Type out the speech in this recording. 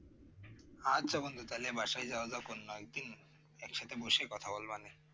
আচ্ছা বন্ধু বাসায় যাওয়া যাক অন্য একদিন একসাথে বসে কথা বলব